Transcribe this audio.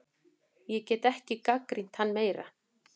Ég get ekki gagnrýnt hann meira.